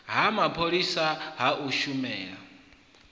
ha mapholisa ha u shumela